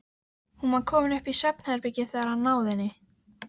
Hún var komin upp í svefnherbergi þegar hann náði henni.